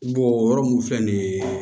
o yɔrɔ mun filɛ nin ye